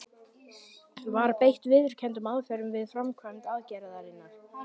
Var beitt viðurkenndum aðferðum við framkvæmd aðgerðarinnar?